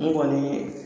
N kɔni